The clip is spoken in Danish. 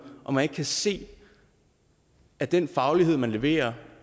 og man ikke kan se at den faglighed man leverer